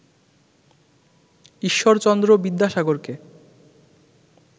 Ishwarchandra বিদ্যাসাগরকে